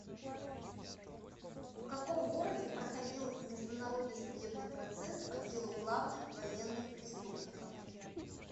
в каком городе проходил международный судебный процесс по делу главных военных преступников